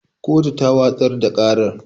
Kotu ta watsar da ƙarar